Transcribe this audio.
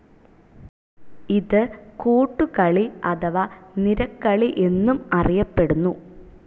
ഇത് കൂട്ടുകളി അഥവാ നിരകളി എന്നും അറിയപ്പെടുന്നു.